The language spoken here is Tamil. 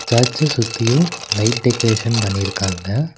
சர்ச்ச சுத்தியு லைட் டெக்கரேஷன் பண்ணிருக்காங்க.